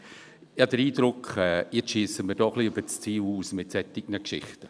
Ich habe den Eindruck, dass man mit solchen Geschichten über das Ziel hinausschiesst.